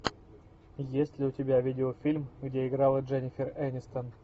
есть ли у тебя видеофильм где играла дженнифер энистон